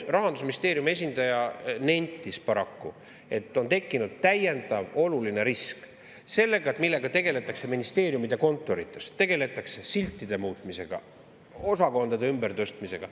Rahandusministeeriumi esindaja nentis paraku, et on tekkinud täiendav oluline risk seoses sellega, millega tegeletakse ministeeriumide kontorites: tegeletakse siltide muutmisega, osakondade ümbertõstmisega.